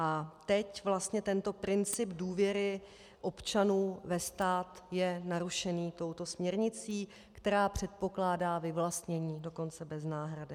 A teď vlastně tento princip důvěry občanů ve stát je narušený touto směrnicí, která předpokládá vyvlastnění dokonce bez náhrady.